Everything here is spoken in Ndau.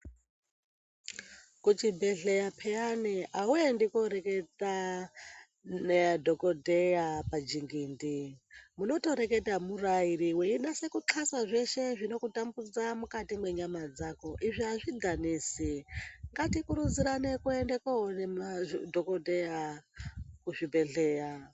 Kuchibhedhleya peyani awuendi koreketa nadhokodheya pachingindi, munotoreketa muri vaviri weinaso kuqhasa zveshe zvinokutambudza mukati mwenyama dzako izvi azvidhanisi, ngatikurudzirane kuende koone madhokodheya kuzvibhedhleya.